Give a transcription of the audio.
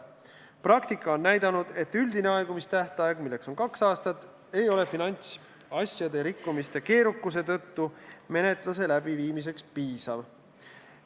Praktika on näidanud, et üldine aegumistähtaeg, milleks on kaks aastat, ei ole finantsasjade rikkumiste keerukuse tõttu menetluse läbiviimiseks piisav.